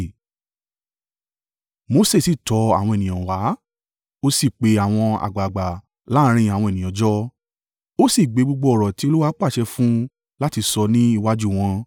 Mose sì tọ àwọn ènìyàn wá, ó sí pe àwọn àgbàgbà láàrín àwọn ènìyàn jọ. Ó sì gbé gbogbo ọ̀rọ̀ ti Olúwa pàṣẹ fún un láti sọ ní iwájú wọn.